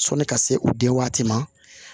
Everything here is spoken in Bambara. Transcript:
Sɔni ka se u denw waati ma